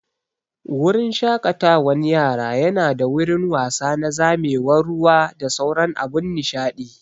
Wurin shaƙatawan yara nada wurin wasa na zamewar ruwa da sauran abun nishaɗi